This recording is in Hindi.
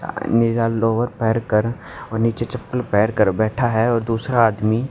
अ निला लोअर पहैर कर नीचे चप्पल पहैर कर बैठा है और दूसरा आदमी--